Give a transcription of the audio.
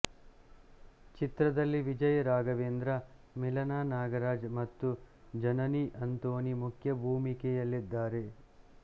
ಚಿತ್ರದಲ್ಲಿ ವಿಜಯ್ ರಾಘವೇಂದ್ರ ಮಿಲನಾ ನಾಗರಾಜ್ ಮತ್ತು ಜನನಿ ಅಂತೋನಿ ಮುಖ್ಯ ಭೂಮಿಕೆಯಲ್ಲಿದ್ದಾರೆ